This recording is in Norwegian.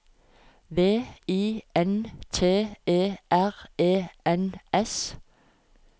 V I N T E R E N S